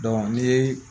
ni